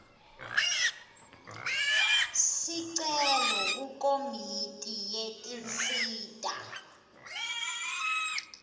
sicelo kukomiti yetinsita